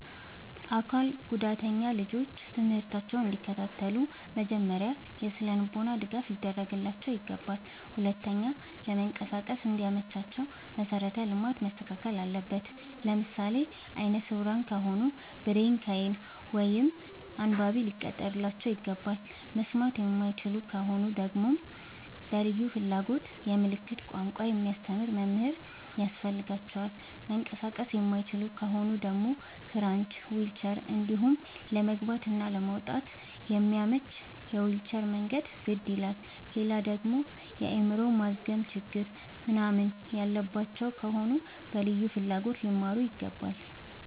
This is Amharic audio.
አካል ጉዳተኛ ልጆች ትምህርታቸውን እንዲ ከታተሉ መጀመሪያ የስነልቦና ድገፍ ሊደረግላቸው ይገባል። ሁለተኛ ለመንቀሳቀስ እንዲ መቻቸው መሰረተ ልማት መስተካከል አለበት። ለምሳሌ አይነስውራ ከሆኑ ብሬል ከይን እንዲሁም አንባቢ ሊቀጠርላቸው ይገባል። መስማት የማይችሉ ከሆኑ ደግመሞ በልዩ ፍላጎት የምልክት ቋንቋ የሚያስተምር መምህር ያስፈልጋቸዋል። መንቀሳቀስ የማይችሉ ከሆኑ ደግሞ ክራች ዊልቸር እንዲሁም ለመግባት እና ለመውጣት የሚያመች የዊልቸር መንገድ ግድ ይላላል። ሌላደግሞ የአይምሮ ማዝገም ችግር ምንናምን ያለባቸው ከሆኑ በልዩ ፍላጎት ሊማሩ ይገባል።